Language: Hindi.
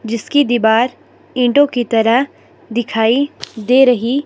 जिसकी दीवार ईंटों की तरह दिखाई दे रही--